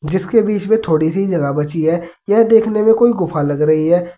जीसके बीच में थोड़ी सी जगह बची है यह देखने में कोई गुफा लग रही है।